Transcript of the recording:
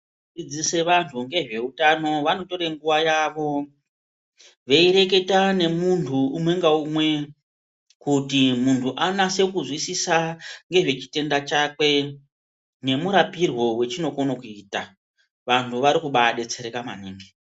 Vanodzidzise vantu vanotore nguwa yavo veireketa nemuntu umwe ngaumwe kuti muntu anase kuzwisisa ngezve chitenda chakwe nemurapirwe wechinokone kuita vantu vari kubadetsereka maningi.